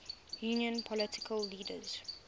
union political leaders